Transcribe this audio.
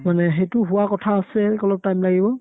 মানে সেইটো হোৱা কথা আছে অলপ time লাগিব